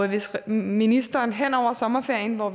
hvis ministeren hen over sommerferien hvor